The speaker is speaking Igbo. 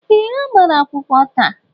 Ee, ha gbara akwụkwọ taa